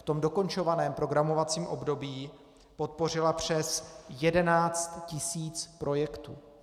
V tom dokončovaném programovacím období podpořila přes 11 tisíc projektů.